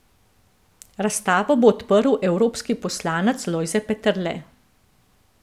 Razstavo bo odprl evropski poslanec Lojze Peterle.